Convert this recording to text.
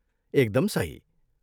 एकदम सही!